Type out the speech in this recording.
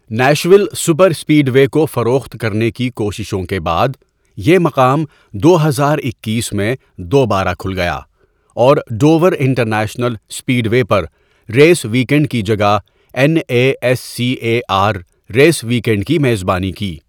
Nashville superspeedway کو فروخت کرنے کی کوششوں کے بعد، یہ مقام دو ہزار اکیس میں دوبارہ کھل گیا اور ڈوور انٹرنیشنل سپیڈوے پر ریس ویک اینڈ کی جگہ N A S C A R race weekend کی میزبانی کی۔